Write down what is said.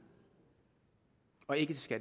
og ikke til